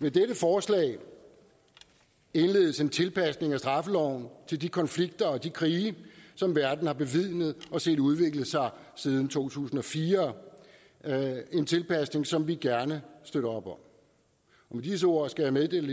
med dette forslag indledes en tilpasning af straffeloven til de konflikter og de krige som verden har bevidnet og set udvikle sig siden to tusind og fire en tilpasning som vi gerne støtter op om med disse ord skal jeg meddele